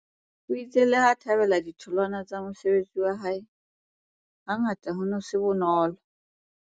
O itse leha a thabela ditholwana tsa mosebetsi wa hae, hangata ho ne ho se bonolo.